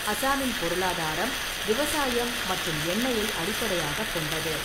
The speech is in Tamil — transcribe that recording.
அசாமின் பொருளாதாரம் விவசாயம் மற்றும் எண்ணெயை அடிப்படையாகக் கொண்டது.